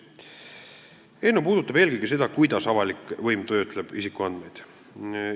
Eelnõu puudutab eelkõige seda, kuidas avalik võim isikuandmeid töötleb.